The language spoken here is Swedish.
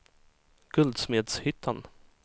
Guldsmedshyttan